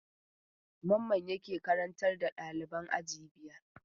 Mamman yake karantar da ɗaliban aji biyar?